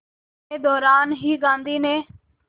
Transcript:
के दौरान ही गांधी ने